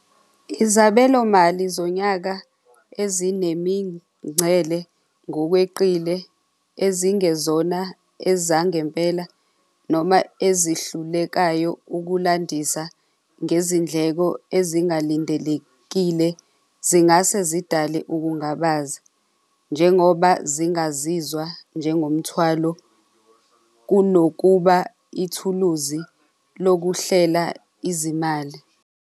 Izabelomali zonyaka ezinemingcele ngokweqile ezingezona ezangempela noma ezihlulekayo ukulandisa ngezindleko ezingalindelekile zingase zidale ukungabaza njengoba zingazizwa njengomthwalo kunokuba ithuluzi lokuhlela izimali.